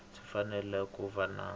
swi fanele ku va na